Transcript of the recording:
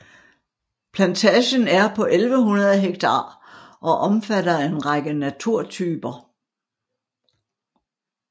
Plantagen er på 1100 ha og omfatter en række naturtyper